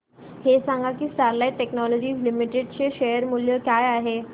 हे सांगा की स्टरलाइट टेक्नोलॉजीज लिमिटेड चे शेअर मूल्य काय आहे